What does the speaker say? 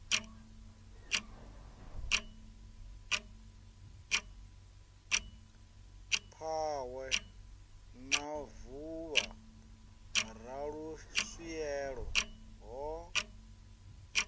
phahwe na vuvha raluswielo ho